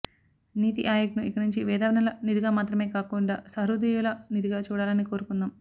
నీతి ఆయోగ్ను ఇకనుంచి మేధావ్ఞల నిధిగా మాత్ర మే కాకుండా సహృదయుల నిధిగా చూడాలని కోరుకుందాం